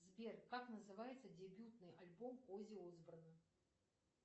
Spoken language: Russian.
сбер как называется дебютный альбом оззи осборна